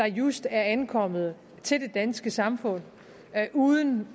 just er ankommet til det danske samfund uden